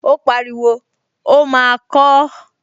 Ó pariwo, 'ó máa kọọ́!